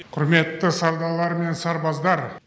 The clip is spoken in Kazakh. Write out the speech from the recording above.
құрметті сардарлар мен сарбаздар